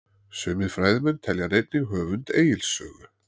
sumir fræðimenn telja hann einnig höfund egils sögu